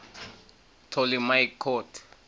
ptolemaic court